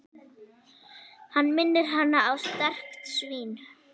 Hann minnir hana á strekkt svín.